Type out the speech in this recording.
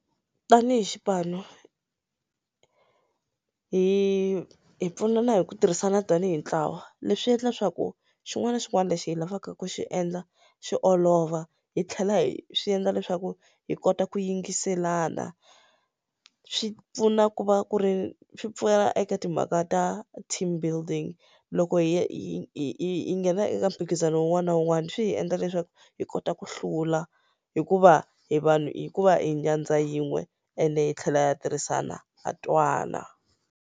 Tanihi xipano hi hi pfunana hi ku tirhisana tanihi ntlawa leswi endla leswaku xin'wana na xin'wana lexi hi lavaka ku xi endla xi olova hi tlhela hi swi endla leswaku hi kota ku yingiselana swi pfuna ku va ku ri swi pfuna eka timhaka ta team building loko hi hi nghena eka mphikizano wun'wana na wun'wana swi hi endla leswaku hi kota ku hlula hikuva hi vanhu hikuva i nyandza yin'we ende hi tlhela ha tirhisana ha twana.